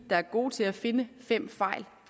der er gode til at finde fem fejl